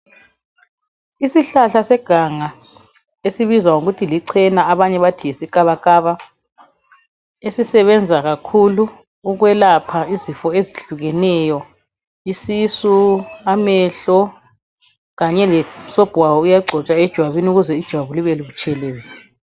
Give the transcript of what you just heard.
Isihlahla seganga esibizwa ngokuthi lichena abanye bathi yisikabakaba ezisebenza kakhulu ukwelapha izifo ezehlukeneyo isisu, amehlo Kanye lomsobho waso uyagcotshwa ejwabini ukuze ijwabu libe butshelezi